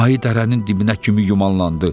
Ayı dərənin dibinə kimi yumalandı.